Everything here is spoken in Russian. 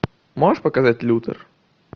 можешь показать лютер